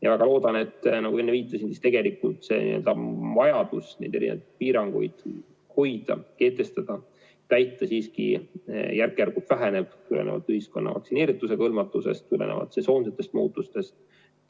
Ma väga loodan, nagu enne viitasin, et tegelikult vajadus piiranguid hoida, kehtestada ja täita siiski järk-järgult väheneb tulenevalt ühiskonna vaktsineeritusega hõlmatusest, samuti sesoonsetest muutustest.